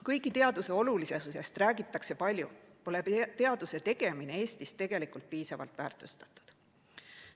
Kuigi teaduse olulisusest räägitakse palju, pole teaduse tegemine Eestis tegelikult piisavalt väärtustatud.